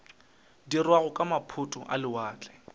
dirwago ke maphoto a lewatle